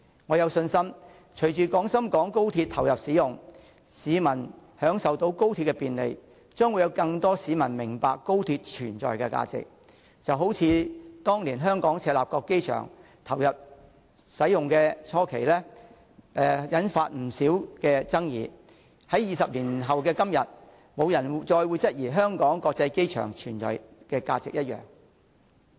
我有信心隨着廣深港高鐵投入使用，市民享受到高鐵的便利，將會有更多市民明白高鐵存在的價值，就好像當年香港赤鱲角機場投入使用初期，曾引發不少爭議，但在20年後的今天，沒有人會再質疑香港國際機場的存在價值。